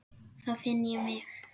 Þá finn ég mig.